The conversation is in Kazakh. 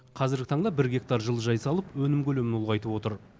қазіргі таңда бір гектар жылыжай салып өнім көлемін ұлғайтып отыр